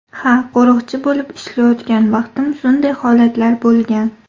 Ha, qo‘riqchi bo‘lib ishlayotgan vaqtim shunday holatlar bo‘lgan.